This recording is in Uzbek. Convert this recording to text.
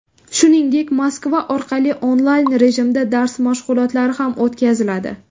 Shuningdek, Moskva orqali onlayn rejimda dars mashg‘ulotlari ham o‘tkaziladi.